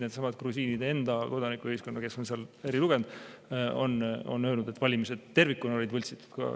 Needsamad grusiinide enda kodanikuühiskonna grupid, kes seal on eri tugevusega, on öelnud, et valimised tervikuna olid võltsitud.